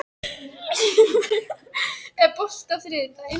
Hlíf, er bolti á þriðjudaginn?